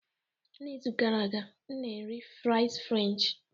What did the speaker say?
N'izu gara aga, m na-eri fries french